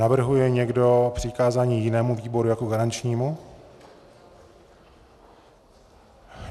Navrhuje někdo přikázání jinému výboru jako garančnímu?